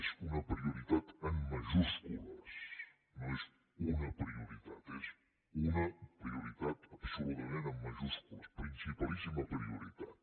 és una prioritat en majúscules no és una prioritat és una prioritat absolutament en majúscules principalíssima prioritat